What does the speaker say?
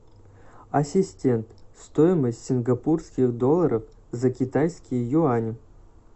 ассистент стоимость сингапурских долларов за китайские юани